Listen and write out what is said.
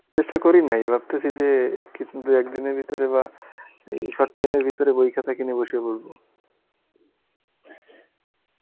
চেষ্টা করি নাই ভাবতেছি যে কিছু দুই একদিনের ভিতরে বা উম short time এর ভিতরে বই খাতা কিনে বসে পরবো